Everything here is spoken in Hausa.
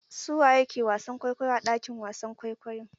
Su waye ke wasan kwaikwayo a ɗakin wasan kwaikwayo?